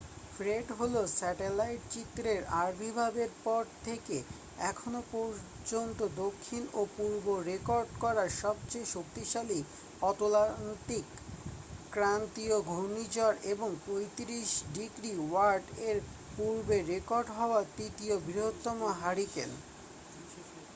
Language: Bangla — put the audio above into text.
ফ্রেড হলো স্যাটেলাইট চিত্রের আবির্ভাবের পর থেকে এখনও পর্যন্ত দক্ষিণ ও পূর্বে রেকর্ড করা সবচেয়ে শক্তিশালী অতলান্তিক ক্রান্তীয় ঘূর্ণিঝড় এবং 35°w-এর পূর্বে রেকর্ড হওয়া তৃতীয় বৃহত্তম হারিকেন।